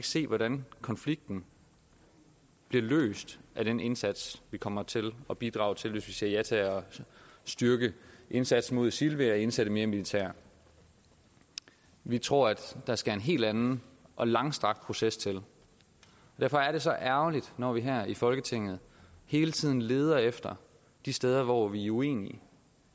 se hvordan konflikten bliver løst af den indsats vi kommer til at bidrage til hvis vi siger ja til at styrke indsatsen mod isil ved at indsætte mere militær vi tror at der skal en helt anden og langstrakt proces til derfor er det så ærgerligt når vi her i folketinget hele tiden leder efter de steder hvor vi er uenige